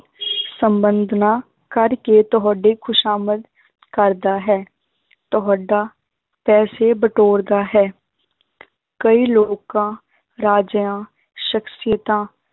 ਸੰਬੰਧ ਨਾ ਕਰਕੇ ਤੁਹਾਡੇ ਖ਼ੁਸ਼ਾਮਦ ਕਰਦਾ ਹੈ ਤੁਹਾਡਾ ਪੈਸੇ ਬਟੋਰਦਾ ਹੈ ਕਈ ਲੋਕਾਂ ਰਾਜਿਆਂ ਸਖ਼ਸੀਅਤਾਂ